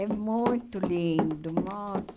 É muito lindo, nossa.